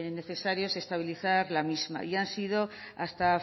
necesario estabilizar la misma y ha sido hasta